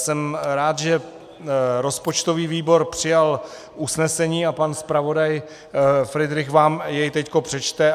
Jsem rád, že rozpočtový výbor přijal usnesení, a pan zpravodaj Fridrich vám je teď přečte.